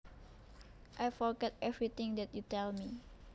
I forget every thing that you tell me